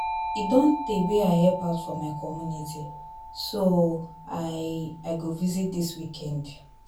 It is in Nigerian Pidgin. E don tey wey I help out for my community so I I go visit dis weekend